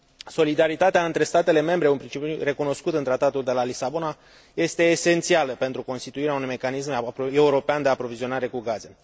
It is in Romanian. Solidaritatea între statele membre, un principiu recunoscut în Tratatul de la Lisabona, este esențială pentru constituirea unui mecanism european de aprovizionare cu gaze.